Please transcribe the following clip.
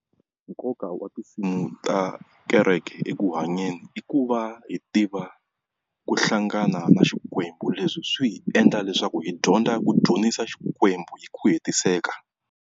Nkoka wa tinsimu ta kereke eku hanyeni i ku va hi tiva ku hlangana na Xukwembu, leswi swi hi endla leswaku hi dyondza ku dzunisa Xikwembu hi ku hetiseka.